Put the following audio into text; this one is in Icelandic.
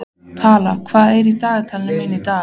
Tala, hvað er í dagatalinu mínu í dag?